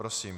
Prosím.